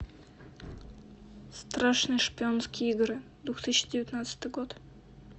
страшные шпионские игры две тысячи девятнадцатый год